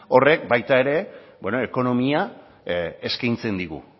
ekonomia eskaintzen digu